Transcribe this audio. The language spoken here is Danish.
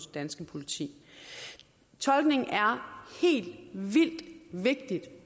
danske politi tolkning er helt vildt vigtigt